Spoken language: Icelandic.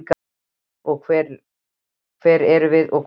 Hver erum við og hvað erum við?